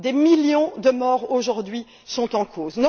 Des millions de morts aujourd'hui sont en cause.